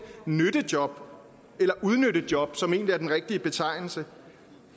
nyttejob eller udnyttejob som egentlig er den rigtige betegnelse